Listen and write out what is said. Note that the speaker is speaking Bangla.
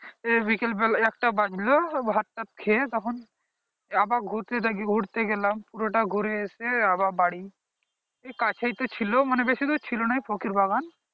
বিকাল বেলা একটা বাজলো ভাত তাত খেয়ে তখন আবার ঘুরতে ডাকি ঘুরতে গেলাম পুরো টা ঘুরে এসে আবার বাড়ী এই কাছে তো ছিল মানে বেশি দূর ছিল না এই ফকির বাগান